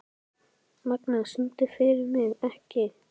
Magna, syngdu fyrir mig „Ekki“.